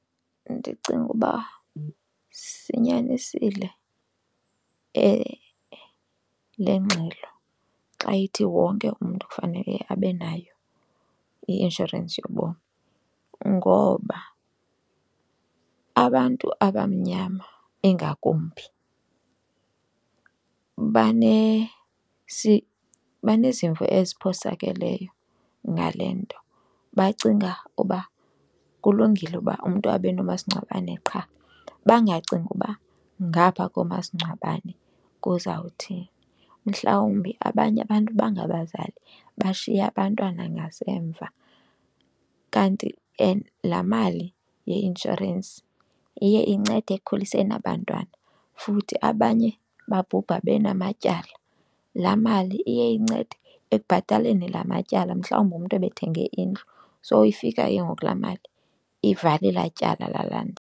Ndicinga uba sinyanisile le ngxelo xa ithi wonke umntu kufanele abe nayo i-inshorensi yobomi ngoba abantu abamnyama ingakumbi banezimvo eziphosakeleyo ngale nto bacinga uba kulungile uba umntu abe nomasingcwabane qha, bangacingi uba ngapha komasingcwabane kuzawuthini. Mhlawumbi abanye abantu bangabazali, bashiya abantwana ngasemva kanti and laa mali yeinshorensi iye incede ekukhuliseni aba bantwana. Futhi abanye babhubha benamatyala, laa mali iye incede ekubhataleni laa matyala. Mhlawumbi umntu ebethenge indlu so ifika ke ngoku laa mali ivale elaa tyala lalaa nto.